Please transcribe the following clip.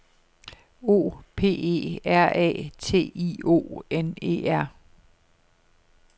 O P E R A T I O N E R